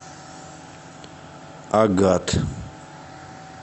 агат